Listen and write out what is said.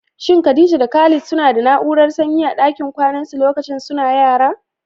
Shin Khadija da Khalid suna da na'urar sanyi a dakin kwanansu lokacin suna yara?